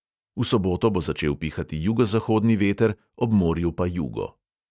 V soboto bo začel pihati jugozahodni veter, ob morju pa jugo.